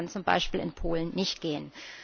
Das würde dann zum Beispiel in Polen nicht gehen.